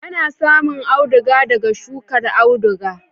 Ana samun auduga daga shukar auduga.